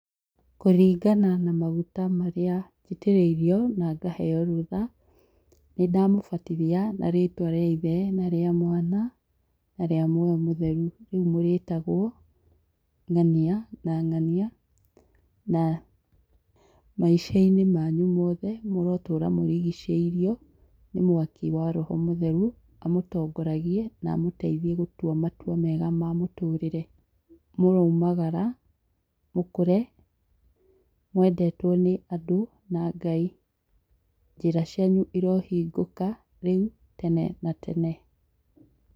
Kũringana na maguta marĩa njitĩrĩirio na ngaheo rũtha, nĩdamũbatithia na rĩtwa rĩa Ithe na rĩa Mwana na rĩa Muoyo mũtheru. Rĩu mũrĩtagwo ng'ania na ng'ania na maica-inĩ manyu mũrotũra mũrigicĩirwo nĩ mwaki wa roho mũtheru, amũtongoragie na amũteithie gũtua matua mega ma mũtũrĩre. Mũroumagara, mũkũre mwedetwo nĩ andũ na Ngai. Njĩra cianyu irohingũka rĩu, tene na tene.